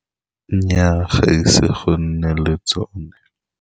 Nnyaa, ga ise go nne le tsone.